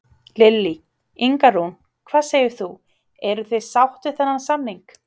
Lillý: Inga Rún, hvað segir þú, eruð þið sátt við þennan samning?